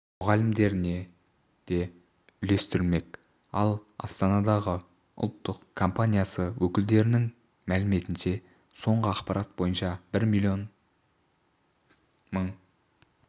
мұғалімдеріне де үлестірілмек ал астанадағы ұлттық компаниясы өкілдерінің мәліметінше соңғы ақпарат бойынша бір миллион мың